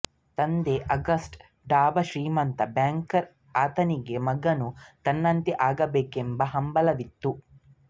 ತಂದೆ Auguste Degas ಶ್ರೀಮಂತ banker ಆತನಿಗೆ ಮಗನೂ ತನ್ನಂತೆ ಆಗಬೇಕೆಂಬ ಹಂಬಲವಿತ್ತು